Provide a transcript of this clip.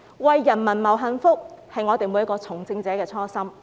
為人民謀幸福，是我們每位從政者的初心。